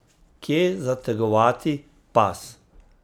Kje zategovati pas?